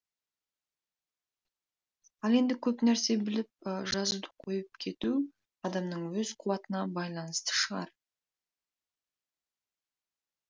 ал енді көп нәрсе біліп жазуды қойып кету адамның өз қуатына байланысты шығар